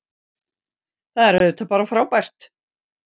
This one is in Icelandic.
Það er auðvitað bara frábært